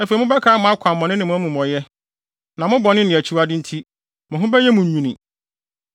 Afei mobɛkae mo akwammɔne ne mo amumɔyɛ, na mo bɔne ne akyiwade nti, mo ho bɛyɛ mo nwini.